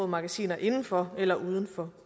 magasiner inden for eller uden for